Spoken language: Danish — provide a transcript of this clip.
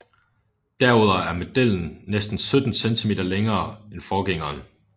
Derudover er modellen næsten 17 cm længere end forgængeren